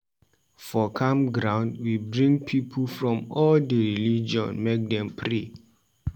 For camp ground, we bring pipu from all di religion make dem pray.